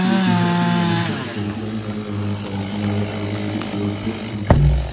ഈ ചിത്രത്തിൽ നമുക്ക് ഒരു പ്ലേഗ്രൗണ്ട് ആണ് കാണാൻ സാധിക്കുന്നത് അവിടെയൊരു ഗോൾ പോസ്റ്റ് ഉണ്ട്.